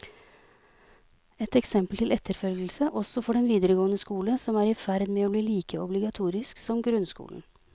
Et eksempel til etterfølgelse også for den videregående skole, som er i ferd med å bli like obligatorisk som grunnskolen.